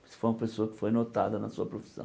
Isso foi uma pessoa que foi notada na sua profissão.